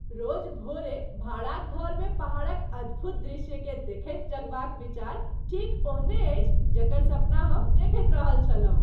रोज भोरे भाड़ाक घरमे पहाड़क अद्भुत दृश्यकेँ देखैत जगबाक विचार ठीक ओहने अछि जकर सपना हम देखैत रहल छलहुँ।